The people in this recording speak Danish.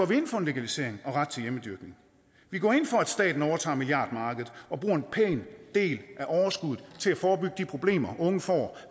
vi ind for en legalisering og ret til hjemmedyrkning vi går ind for at staten overtager milliardmarkedet og bruger en pæn del af overskuddet til at forebygge de problemer unge får